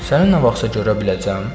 Səni nə vaxtsa görə biləcəm?